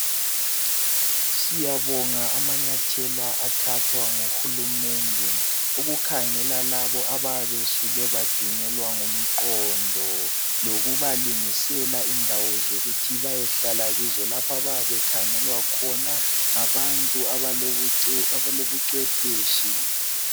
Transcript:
Siyabonga amanyathelo athathwa nguhulumende ukukhangela labo abayabe besuke badunyelwa ngumqondo .lokubalungisela indawo zokuthi beyehlala kizo lapho abayabe bekhangelwa khona ngabantu abalobucwepheshi.